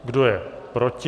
Kdo je proti?